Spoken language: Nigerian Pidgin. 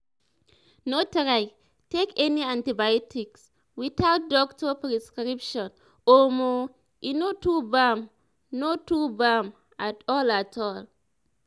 no try take any antibiotics without doctor prescription omo e no to bam no to bam at all at all."